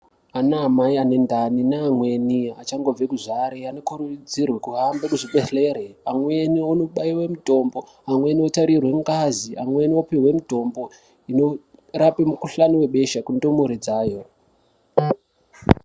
Ana amai anendani neamweni achangobve kuzvare anokurudzirwe kuhambe kuzvibhedhlere. Amweni anobaive mutombo, amweni otarirwe ngazi, amweni opihwe mutombo inorape mukuhlani vebesha kundumure dzayo.